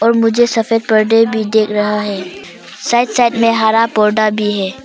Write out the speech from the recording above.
मुझे सफेद पर्दे भी देख रहा है साइड साइड में हरा पौधा भी है।